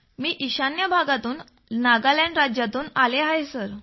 मी ईशान्य भाग नागालँड राज्यातून आलो आहे सर